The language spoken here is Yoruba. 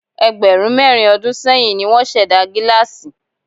Ẹgbẹ̀rún mẹ́rin ọdún sẹ́yìn ní wọ́n ṣẹ̀dá gílásì.